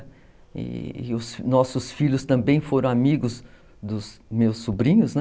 E os nossos filhos também foram amigos dos meus sobrinhos, né?